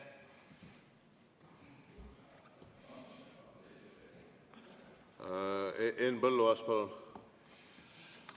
Henn Põlluaas, palun!